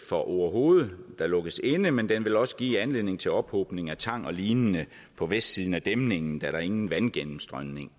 for orehoved der lukkes inde men den vil også give anledning til ophobning af tang og lignende på vestsiden af dæmningen da der ingen vandgennemstrømning